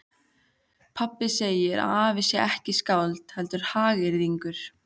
Pabbi segir að afi sé ekki skáld heldur hagyrðingur.